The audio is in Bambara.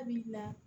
A b'i bila